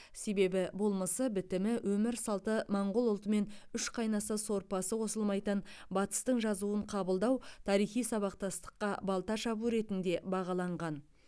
себебі болмысы бітімі өмір салты моңғол ұлтымен үш қайнаса сорпасы қосылмайтын батыстың жазуын қабылдау тарихи сабақтастыққа балта шабу ретінде бағаланған